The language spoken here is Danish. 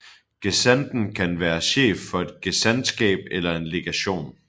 Gesandten kan være chef for et gesandtskab eller en legation